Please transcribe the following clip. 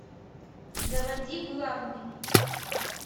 заводи главный